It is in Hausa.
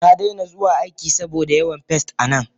Nadaina zuwa aiki saboda yawan pests a nan.